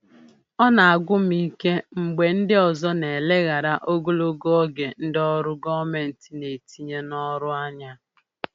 Ọ na-agwụ m ike mgbe ndị ọzọ na-eleghara ogologo oge ndị ọrụ gọọmentị na-etinye n'ọrụ anya.